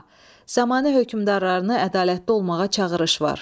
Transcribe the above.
A. Zamanə hökmdarlarını ədalətli olmağa çağırış var.